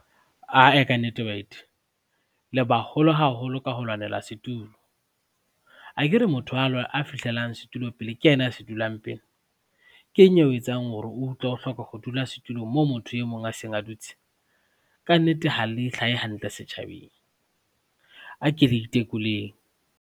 Ae ka nnete baeti, le baholo haholo ka ho lwanela setulo. Akere motho a fihlelang setulo pele ke yena a se dulang pele. Keng eo etsang hore o utlwe o hloka ho dula setulong moo motho e mong a seng a dutse? Ka nnete ha le hlahe hantle setjhabeng. Ake le itekoleng.